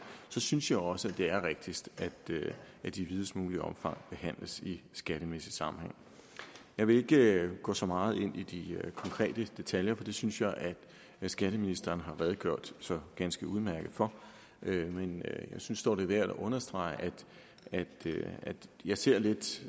synes jeg også at det er rigtigst at det i videst muligt omfang behandles i skattemæssig sammenhæng jeg vil ikke gå så meget ind i de konkrete detaljer for det synes jeg skatteministeren har redegjort så ganske udmærket for men jeg synes dog det er værd at understrege at jeg ser